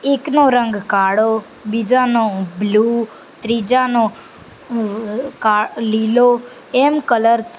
એકનો રંગ કાળો બીજાનો બ્લુ ત્રીજાનો કા લીલો એમ કલર --